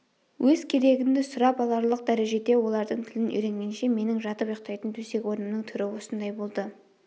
өз керегіңді сұрап аларлық дәрежеде олардың тілін үйренгенше менің жатып ұйықтайтын төсек-орнымның түрі осындай болды